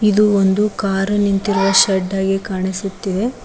ಇದು ಒಂದು ಕಾರು ನಿಂತಿರುವ ಶೆಡ್ ಆಗಿ ಕಾಣಿಸುತ್ತಿವೆ.